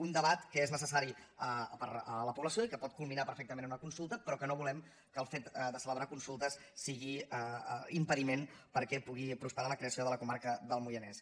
un debat que és necessari per a la població i que pot culminar perfectament amb una consulta però que no volem que el fet de celebrar consultes sigui impediment perquè pugui prosperar la creació de la comarca del moianès